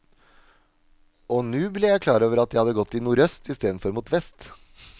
Og nu ble jeg klar over at jeg hadde gått i nordøst istedenfor mot vest.